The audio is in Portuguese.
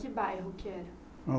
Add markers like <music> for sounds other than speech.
Que bairro que era? <unintelligible>